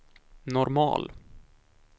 normal